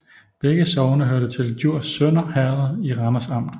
Begge sogne hørte til Djurs Sønder Herred i Randers Amt